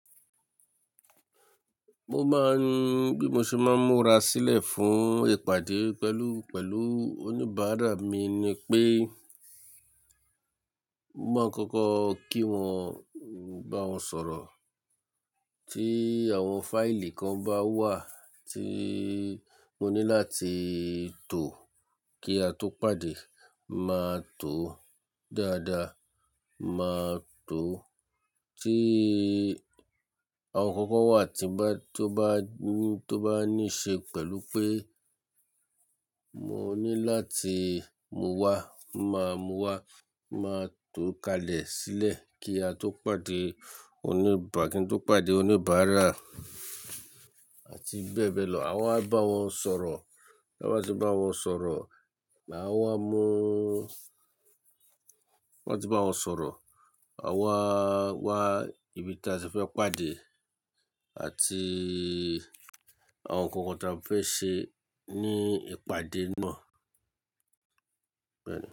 Mo máa ń, bí mo ṣe máa ń múra sílẹ̀ fún ìpàdé pẹ̀lú, pẹ̀lú oníbàárà mi ni pé, mo máa ń kọ́kọ́ kí wọn, bá wọn sọ̀rọ̀. Tí àwọn fáìlì kan bá wà tí mo ní láti tò kí a tó pàdé, màá tò ó dáadáa, màá tò ó. Tí àwọn ǹkan kan wà tí n bá, tó bá ní, tó bá ní ṣe pẹ̀lú pé mo ní láti mú wá, màá mú wá, màá tò ó kalẹ̀ sílẹ̀ kí a tó pàdé oníbàá-- kí n tó pàdé oníbàárà àti bẹ́ẹ̀ bẹ́ẹ̀ lọ. Awa bá wọn sọ̀rọ̀. Bí a bá ti bá wọn sọ̀rọ̀, màá wá múú, wọ́n ti bá wọn sọ̀rọ̀, a wá, wá ibi tí a ti fẹ́ pàdé àti àwọn ǹkan kan tí a fẹ́ ṣe ní ìpàdé náà. Bẹ́ẹ̀ni.